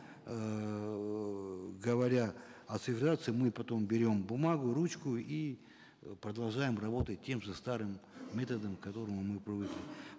эээ говоря о цифровизации мы потом берем бумагу ручку и продолжаем работать тем же старым методом к которому мы привыкли